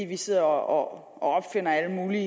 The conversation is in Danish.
vi sidder og opfinder alle mulige